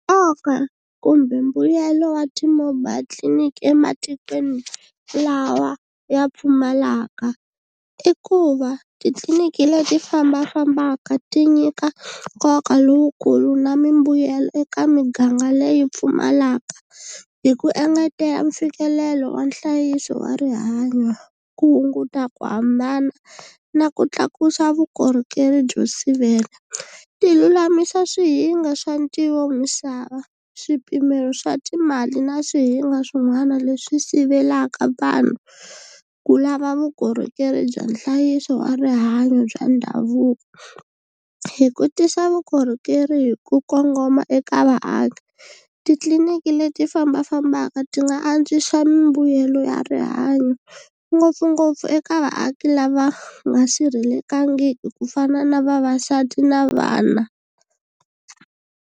Nkoka kumbe mbuyelo wa ti-mobile tliliniki ematikweni lawa ya pfumalaka i ku va titliliniki leti fambafambaka ti nyika nkoka lowukulu na mimbuyelo eka miganga leyi pfumalaka, hi ku engetela mfikelelo wa nhlayiso wa rihanyo, ku hunguta ku hambana na ku tlakusa vukorhokeri byo sivela. Ti lulamisa swihinga swa ntivo misava, swipimelo swa timali na swihinga swin'wana leswi sivelaka vanhu ku lava vukorhokeri bya nhlayiso wa rihanyo bya ndhavuko, hi ku tisa vukorhokeri hi ku kongoma eka vaaki. Titliliniki leti fambafambaka ti nga antswisa mbuyelo ya rihanyo ngopfungopfu eka vaaki lava nga sirhelekangiki ku fana na vavasati na vana.